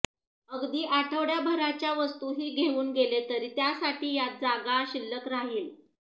अगदी आठवड्याभराच्या वस्तूही घेऊन गेले तरी त्यासाठी यात जागा शिल्लक राहील